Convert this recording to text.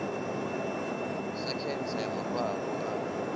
sa khentsa ya mafhafhu a